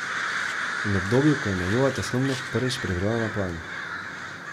In obdobju, ko je njegova tesnobnost prvič privrela na plan.